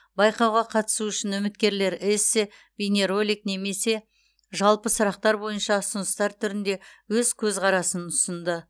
байқауға қатысу үшін үміткерлер эссе бейнеролик немесе жалпы сұрақтар бойынша ұсыныстар түрінде өз көзқарасын ұсынды